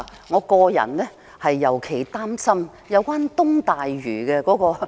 我個人尤其擔心東大嶼的資金安排。